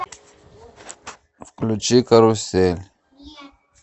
включи карусель